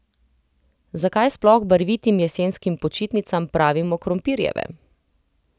Zakaj sploh barvitim jesenskim počitnicam pravimo krompirjeve?